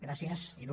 gràcies il